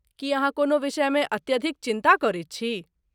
की अहाँ कोनो विषमे अत्यधिक चिन्ता करैत छी?